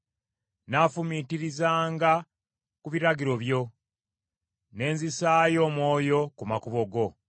Nnaafumiitirizanga ku biragiro byo, ne nzisaayo omwoyo ku makubo go.